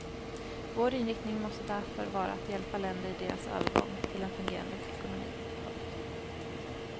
Vår inriktning måste därför vara att hjälpa länder i deras övergång till en fungerande ekonomi. punkt